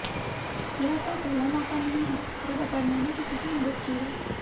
यह कोई पहला मौका नहीं है जब अपर्णा ने किसी की मदद की है